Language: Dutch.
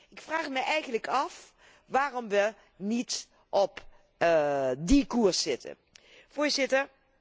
Ik vraag me eigenlijk af waarom we niet op die koers zitten.